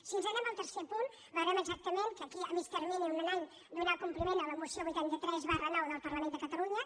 si ens n’anem al tercer punt veurem exactament que aquí a mitjà termini en un any donar compliment a la moció vuitanta tres ix del parlament de catalunya